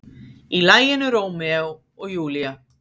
Í laginu Rómeó og Júlía.